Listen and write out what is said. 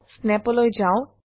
snap লৈ যাও